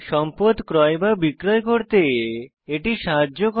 সম্পদ ক্রয় বা বিক্রয় করতে এটি সাহায্য করে